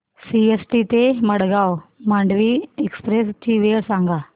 CST ते Madgaon Mandovi express ची वेळ सांगा